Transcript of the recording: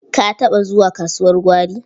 Ka taɓa zuwa kasuwar gwari?